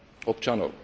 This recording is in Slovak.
občanov.